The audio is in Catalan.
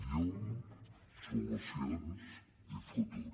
llum solucions i futur